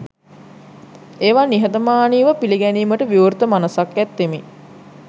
ඒවා නිහතමානී ව පිළිගැනීමට විවෘත මනසක් ඇත්තෙමි.